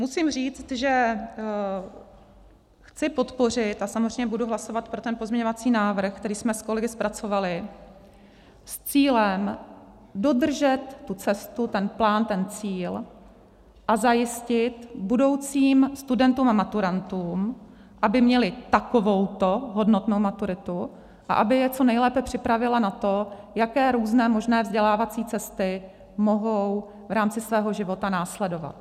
Musím říct, že chci podpořit - a samozřejmě budu hlasovat pro ten pozměňovací návrh, který jsme s kolegy zpracovali s cílem dodržet tu cestu, ten plán, ten cíl a zajistit budoucím studentům a maturantům, aby měli takovouto hodnotnou maturitu a aby je co nejlépe připravila na to, jaké různé možné vzdělávací cesty mohou v rámci svého života následovat.